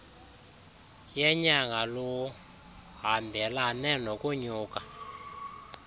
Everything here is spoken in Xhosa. yenyanga luhambelane nokunyuka